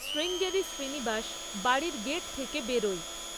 শ্রীঙ্গেরি শ্রীনিবাস বাড়ির গেট থেকে বেরোয়।